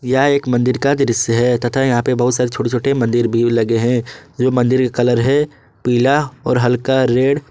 यह एक मंदिर का दृश्य है तथा यहां पे बहुत सारी छोटे छोटे मंदिर भी लगे हैं जो मंदिर के कलर है पीला और हल्का रेड ।